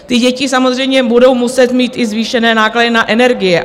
Ty děti samozřejmě budou muset mít i zvýšené náklady na energie.